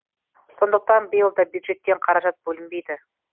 сондықтан биыл да бюджеттен қаражат бөлінбейді